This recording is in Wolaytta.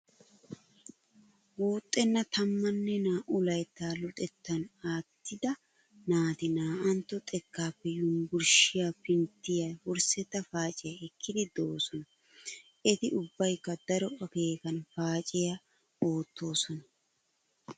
Guuxxenna tammanne naa"u layttaa luxettan aattida naati naa"antto xekkaappe Yunbburshshiyawu pinttiya wurssetta paaciya ekkiiddi doosona. Eti ubbaykka daro akeekan paaciya oottoosona.